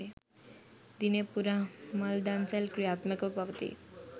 දිනය පුරා මල් දන්සැල් ක්‍රියාත්මකව පවතී